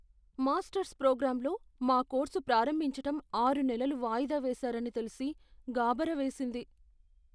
Masters ప్రోగ్రామ్లో మా course ప్రారంభించటం ఆరు నెలలు వాయిదా వేసారని తెలిసి గాభరా వేసింది.